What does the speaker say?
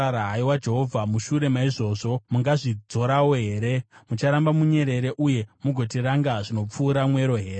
Haiwa Jehovha, mushure maizvozvi mungazvidzorawo here? Mucharamba munyerere, uye mugotiranga zvinopfuura mwero here?